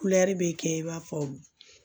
Kulɛri bɛ kɛ i b'a fɔ